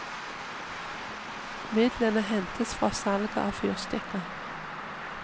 Midlene hentes fra salget av fyrstikker.